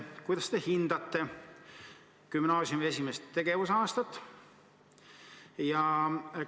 Kuidas te gümnaasiumi esimest tegevusaastat hindate?